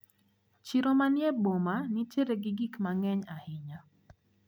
Chiro manie boma nitiere gi gikma ng`eny ahinya.